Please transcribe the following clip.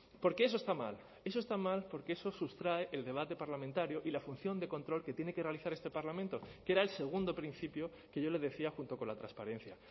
porque eso está mal eso está mal porque eso sustrae el debate parlamentario y la función de control que tiene que realizar este parlamento que era el segundo principio que yo le decía junto con la transparencia